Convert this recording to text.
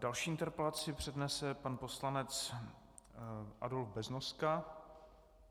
Další interpelaci přednese pan poslanec Adolf Beznoska.